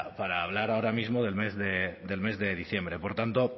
pero para hablar ahora mismo del mes de diciembre por tanto